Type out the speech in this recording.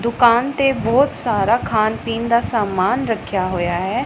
ਦੁਕਾਨ ਤੇ ਬਹੁਤ ਸਾਰਾ ਖਾਣ ਪੀਣ ਦਾ ਸਮਾਨ ਰੱਖਿਆ ਹੋਇਆ ਹੈ।